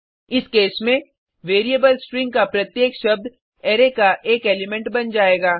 इस केस में variable string का प्रत्येक शब्द अरै का एक एलिमेंट बन जाएगा